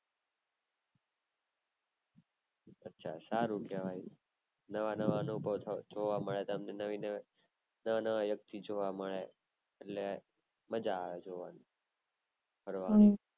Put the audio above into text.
અચ્છા સારું કેવાય નવા નવા લોકો જોવા મળ્યા નવી નવી નવી, નવા નવા વ્યક્તિ જોવા મળે એટલે મજા આવે જોવાની ફરવાની